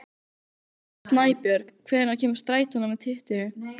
Snæbjörg, hvenær kemur strætó númer tuttugu?